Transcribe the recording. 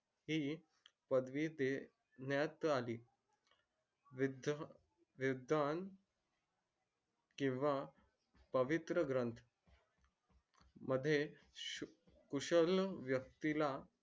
हि पदवी देणयात अली किव्हा पवित्र ग्रंथ मध्ये खुशाल यक्ती ला